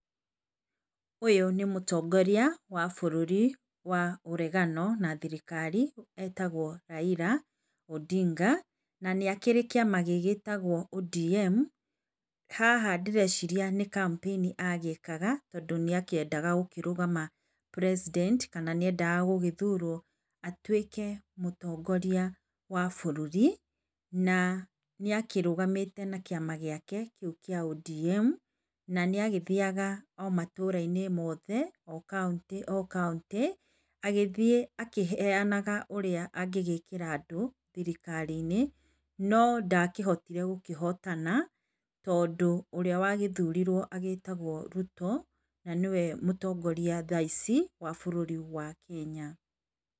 Ũyũ nĩ mũtongoria wa bũrũri wa ũregano na thirikari etagwo Raila Odinga na nĩakĩrĩ kĩama gĩtagwo ODM. Haha ndĩreciria nĩ kampĩini agĩkaga tondũ, ndakĩendaga gũkĩrũgama president kana nĩendaga gũgĩthurwo atuĩke mũtongoria wa bũrũri, na nĩ akĩrũgamĩte na kĩama gĩake kĩa ODM na nĩagĩthiaga o matũra-inĩ mothe o kauntĩ o kauntĩ. Agĩthiĩ akĩheanaga ũrĩa angĩgĩkĩra andũ thirikari-inĩ no ndakĩhotire gũkĩhotana, tondũ ũrĩa wagĩthurirwo agĩtagwo Ruto, na nĩwe mũtongoria thaa ici, wa bũrũri wa Kenya.